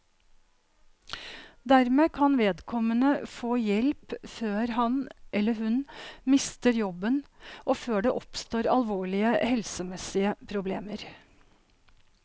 Dermed kan vedkommende få hjelp før han, eller hun, mister jobben og før det oppstår alvorlige helsemessige problemer.